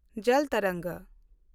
ᱡᱚᱞ ᱛᱚᱨᱚᱝᱜᱽ